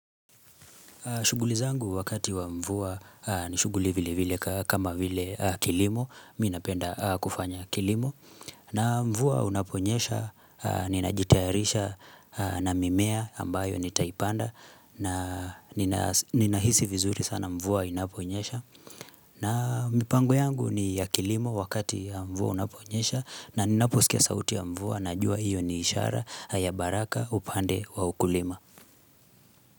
Shuguli zangu wakati wa mvua ni shuguli vile vile kama vile kilimo, mi napenda kufanya kilimo. Na mvua unaponyesha, ninajitayarisha na mimea ambayo nitaipanda na ninahisi vizuri sana mvua inaponyesha. Na mpango yangu ni ya kilimo wakati ya mvua unaponyesha na ninaposikia sauti ya mvua najua iyo ni ishara ya baraka upande wa ukulima.